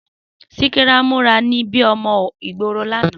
Síkírá múra bíí ọmọ ìgboro l'ana